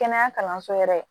Kɛnɛya kalanso yɛrɛ